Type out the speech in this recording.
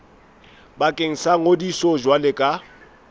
bakeng sa ngodiso jwalo ka